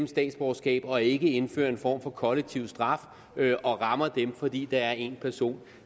statsborgerskab og ikke indfører en form for kollektiv straf og rammer dem fordi der er en person